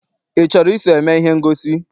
I chọrọ iso eme ihe ngosi?